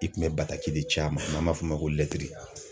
I kun bɛ bataki de ci a ma n'an b'a f'o ma ko